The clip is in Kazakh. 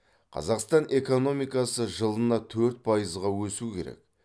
қазақстан экономикасы жылына төрт пайызға өсу керек